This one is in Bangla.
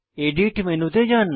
এডিট মেনুতে যান